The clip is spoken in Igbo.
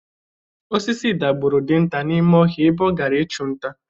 Osisi dagburu dinta n'ime ọhịa ebe ọ gara ịchụ nta.